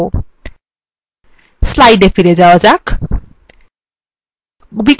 slides এ ফিরে যাওয়া যাক